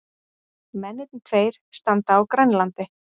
Mennirnir tveir standa á Grænlandi.